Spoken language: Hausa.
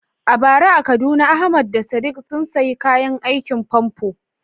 A bara a Kaduna Ahmad da Sadiq sun sayi kayan aikin famfo.